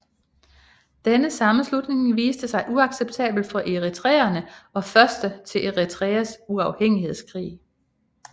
Denne sammenslutning viste sig uacceptabel for eritreerne og første til Eritreas uafhængighedskrig